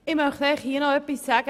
Ich möchte etwas zur Infra sagen.